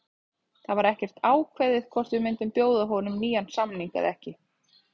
Það var ekkert ákveðið hvort við myndum bjóða honum nýjan samning eða ekki.